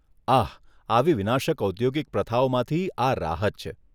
આહ! આવી વિનાશક ઔદ્યોગિક પ્રથાઓમાંથી આ રાહત છે.